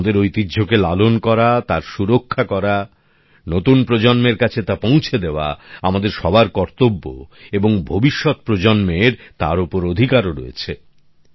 আমাদের ঐতিহ্যকে লালন করা তার সুরক্ষা করা নতুন প্রজন্মের কাছে তা পৌঁছে দেওয়া আমাদের সবার কর্তব্য এবং ভবিষ্যৎ প্রজন্মের তার ওপর অধিকারও রয়েছে